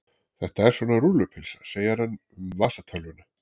Þetta er svona rúllupylsa segir hann um vasatölvuna.